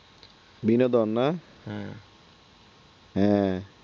বিনোদন না হ্যাঁ